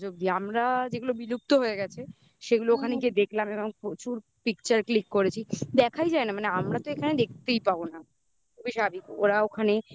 আমরা যেগুলো বিলুপ্ত হয়ে গেছে. সেগুলো ওখানে গিয়ে দেখলাম এবং প্রচুর pictuer click করেছি. দেখাই যায় না. মানে আমরা তো এখানে দেখতেই পাবো না.